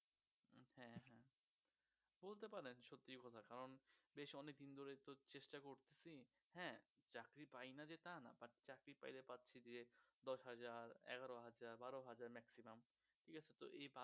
হ্যা হ্যা বলতে পারেন সত্যি কথা কারণ বেশ অনেক দিন ধরেইতো চেষ্টা করছি হ্যা চাকরি পাইনা যে তা না but চাকরি পাইলে পাচ্ছি যে দশ হাজার এগারো হাজার বারো হাজার maximum ঠিকাছে তো